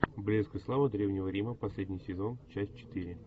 блеск и слава древнего рима последний сезон часть четыре